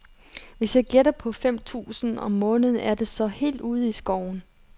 Hvis jeg gætter på fem tusind om måneden, er det så helt ude i skoven?